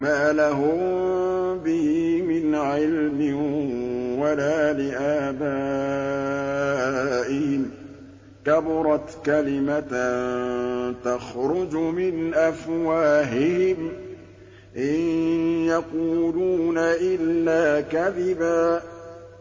مَّا لَهُم بِهِ مِنْ عِلْمٍ وَلَا لِآبَائِهِمْ ۚ كَبُرَتْ كَلِمَةً تَخْرُجُ مِنْ أَفْوَاهِهِمْ ۚ إِن يَقُولُونَ إِلَّا كَذِبًا